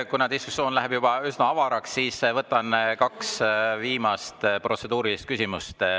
Kuna diskussioon läheb juba üsna avaraks, siis võtan kaks viimast protseduurilist küsimust.